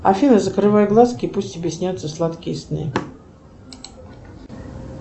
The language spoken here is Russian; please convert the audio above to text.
афина закрывай глазки и пусть тебе снятся сладкие сны